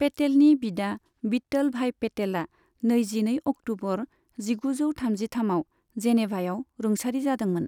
पेटेलनि बिदा विट्ठल भाई पेटेला नैजिनै अक्ट'बर जिगुजौ थामजिथामआव जेनेभायाव रुंसारि जादोंमोन।